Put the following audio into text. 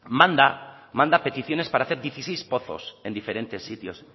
manda manda peticiones para hacer dieciséis pozos en diferentes sitios